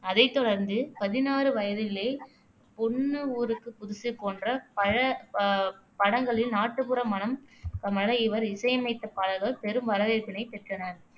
அதைத் தொடர்ந்து பதினாறு வயதினிலே, பொண்ணு ஊருக்கு புதுசு போன்ற பல அஹ் படங்களில் நாட்டுப்புற மணம் கமழ இவர் இசையமைத்த பாடல்கள் பெரும் வரவேற்பினைப் பெற்றன